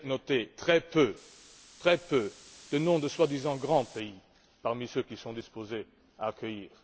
J'ai noté très peu de noms de soi disant grands pays parmi ceux qui sont disposés à les accueillir.